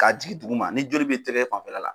Ka jigi dugu ma ni joli bɛ tɛgɛ fanfɛla la